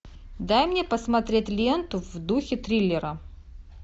дай мне посмотреть ленту в духе триллера